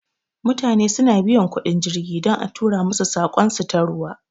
Mutane su na biyan kuɗin jirgi don a tura masu saƙon su ta ruwa